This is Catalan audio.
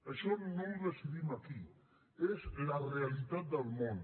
això no ho decidim aquí és la realitat del món